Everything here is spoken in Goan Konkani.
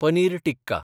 पनीर टिक्का